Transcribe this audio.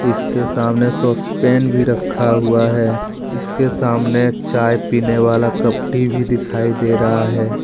इसके सामने भी रखा हुआ है इसके सामने चाय पीने वाला कप टी भी दिखाई दे रहा है।